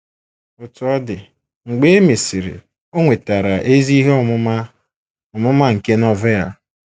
Otú ọ dị, mgbe e mesịrị, o nwetara ezi ihe ọmụma ọmụma nke Novel.